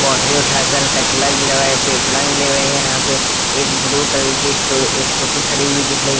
boundary उठा कर कचरा हुआ है यहां पे एक ब्लू कलर की स्कू स्कूटी खड़ी हुई दिख रही--